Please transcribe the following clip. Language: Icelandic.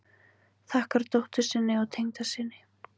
Þakkar dóttur sinni og tengdasyni